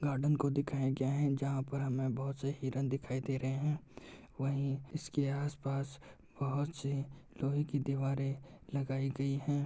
Garden को दिखाया गया है जहाँ पर हमें बहुत से हिरण दिखाई दे रहे हैं। वहीं इसके आस-पास बहुत सी लोहे की दीवारें लगाई गयीं हैं